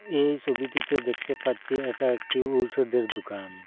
এই ছবিটিতে দেখতে পাচ্ছি এটা একটি ঔষধের দুকান।